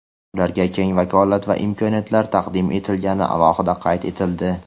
ularga keng vakolat va imkoniyatlar taqdim etilgani alohida qayd etildi.